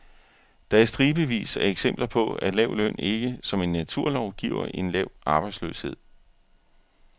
Der er stribevis af eksempler på, at lav løn ikke som en naturlov giver en lav arbejdsløshed.